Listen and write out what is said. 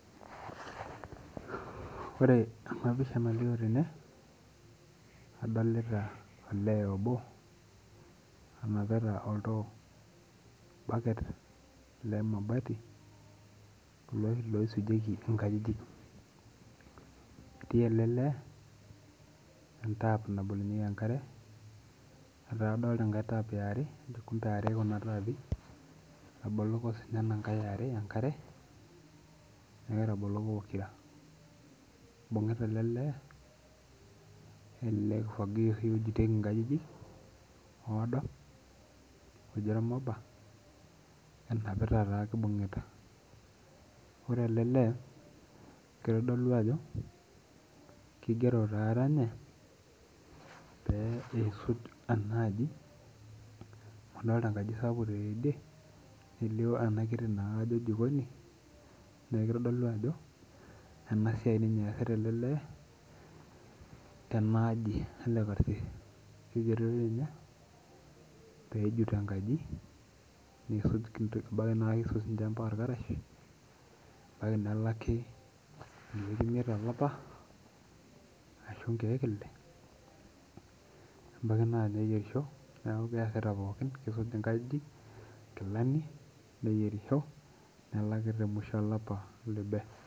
Ore ena pisha nalio tene adolita olee obo onapita ol too orbacket lemabati kulo oshi loisujieki inkajijik. Etii ele lee ee tap nabolunyieku enkare. Adolita enkae tap ee arekumbe are kuna tapii etaboloko sii ninye ena aa are enkare neeku etaboloko pokira. Ibung'ita ele lee ele kifagio oshi ojitieki inkajijik oado oji ormopa enapita naa ake ibung'ita. Ore ele lee kitodolu ajo keigoro naa ninye peyie isuj ena aji, adolita enkaji sapuk tidie nelio ena kitii na ajo kee jikoni. Neeku kitodulu ajo ena siai ninye esita ele lee tena aji ele karsis. Igeroki ninye peisuj enkaji peisuj irbaketu naa kisum sii ninye ampaka irkarash ebaki nelaki inkeek imiet to lapa ashu inkeek ile ebaki neyierisho keas pookin kejut inkajijik inkilani neyierisho nelaki te mwisho olapa oloibe.